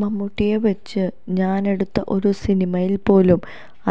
മമ്മൂട്ടിയെ വച്ച് ഞാനെടുത്ത ഒരു സിനിമയിൽ പോലും